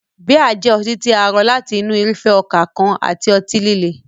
Bíà jẹ́ ọtí tí a rọ láti inú irúfẹ́ ọkà kan àti ọtí líle.